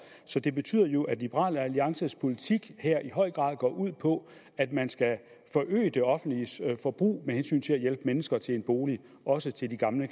så det betyder jo at liberal alliances politik her i høj grad går ud på at man skal forøge det offentliges forbrug med hensyn til at hjælpe mennesker til en bolig også de gamle